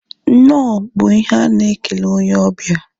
Nnọọ bụ ihe a na-ekele onye obia